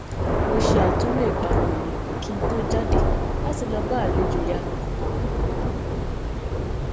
mo ṣe àtúnlò ìparun mi kí n tó jáde láti lọ bá àlejò ìyanu kan